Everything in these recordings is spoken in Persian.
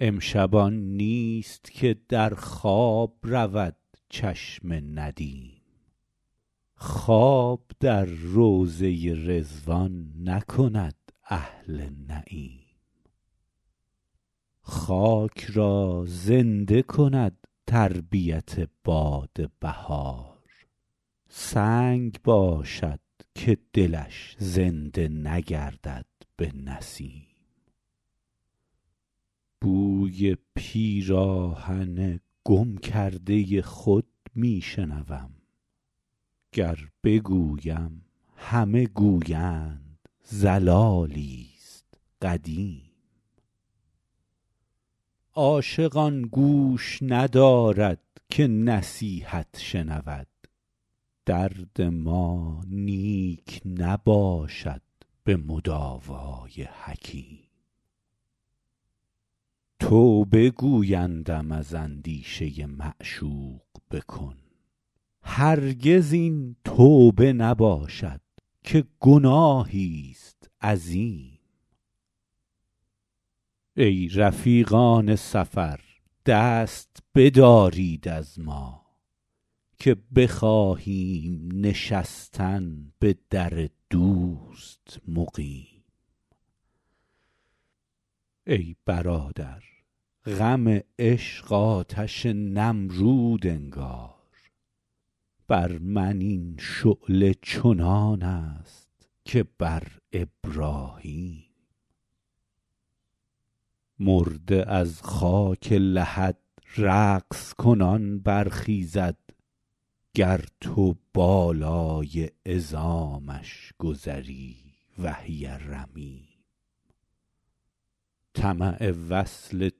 امشب آن نیست که در خواب رود چشم ندیم خواب در روضه رضوان نکند اهل نعیم خاک را زنده کند تربیت باد بهار سنگ باشد که دلش زنده نگردد به نسیم بوی پیراهن گم کرده خود می شنوم گر بگویم همه گویند ضلالی ست قدیم عاشق آن گوش ندارد که نصیحت شنود درد ما نیک نباشد به مداوا ی حکیم توبه گویندم از اندیشه معشوق بکن هرگز این توبه نباشد که گناهی ست عظیم ای رفیقان سفر دست بدارید از ما که بخواهیم نشستن به در دوست مقیم ای برادر غم عشق آتش نمرود انگار بر من این شعله چنان است که بر ابراهیم مرده از خاک لحد رقص کنان برخیزد گر تو بالای عظامش گذری وهی رمیم طمع وصل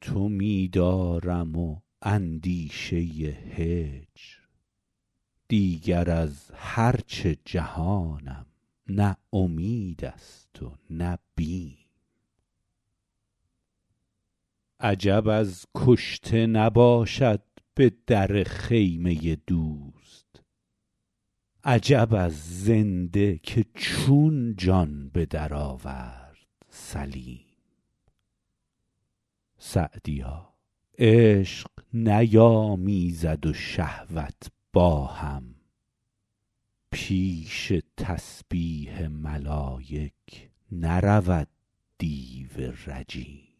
تو می دارم و اندیشه هجر دیگر از هر چه جهانم نه امید است و نه بیم عجب از کشته نباشد به در خیمه دوست عجب از زنده که چون جان به درآورد سلیم سعدیا عشق نیامیزد و شهوت با هم پیش تسبیح ملایک نرود دیو رجیم